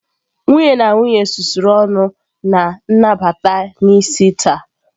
Nwunye na nwunye susuru ọnụ na nnabata n'isi taa.